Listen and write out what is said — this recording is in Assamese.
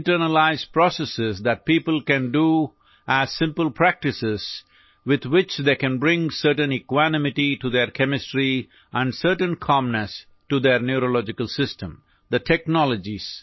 আত্মসাতৰ পদ্ধতি আছে যিবোৰ মানুহে নিজৰ ৰসায়ন বিজ্ঞানৰ ভাৰসাম্য ৰক্ষা কৰিবলৈ সৰল কাৰ্য্য হিচাপে অনুশীলন কৰিব পাৰে আৰু তেওঁলোকৰ স্নায়ুতন্ত্ৰলৈ এক নিৰ্দিষ্ট শান্তি আনিব পাৰে